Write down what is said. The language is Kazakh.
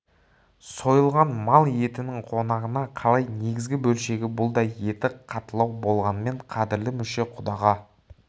сойылған мал етінің қонағына қалай негізгі бөлшегі бұл да еті қаттылау болғанмен қадірлі мүше құдаға